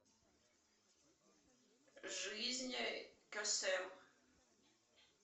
жизнь кесем